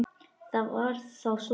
Það var þá svona.